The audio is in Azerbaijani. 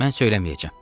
Mən söyləməyəcəm.